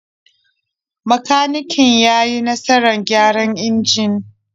Makaniken ya yi nasarar gyara injin.